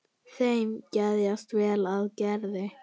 Þeim geðjast vel að Gerði.